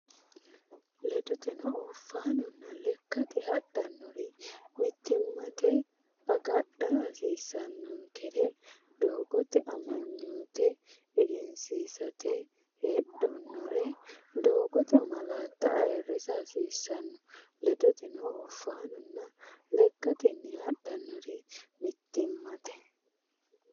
Ledoteno, oofaanonna lekkatenni hodhitannori mittimmate agadha hasiissannonkere doogote amanyoote egensiisate heedhannore doogote malaatta ayirrisa hasiissanno Ledoteno, oofaanonna lekkatenni hodhitannori mittimmate.